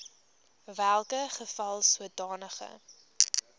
welke geval sodanige